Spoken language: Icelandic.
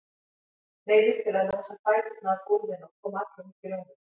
Neyðist til að losa fæturna af gólfinu og koma allur upp í rúmið.